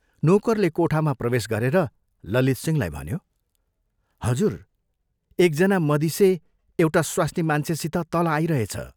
नोकरले कोठामा प्रवेश गरेर ललितसिंहलाई भन्यो, "हजुर, एक जना मदिसे एउटा स्वास्नीमान्छेसित तल आइरहेछ।